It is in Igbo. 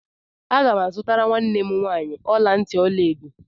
Agam azutara nwam nwanyị ọla ntị ọla edo.